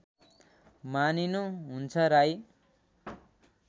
मानिनु हुन्छ राई